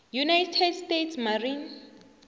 united states marine